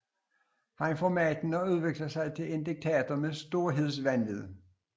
Han får magten og udvikler sig til en diktator med storhedsvanvid